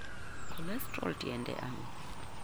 Cholesterol tiende ang'o?